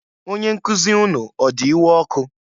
Onyenkuzi unu ọ di iwe ọkụ?